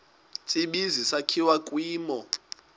tsibizi sakhiwa kwimo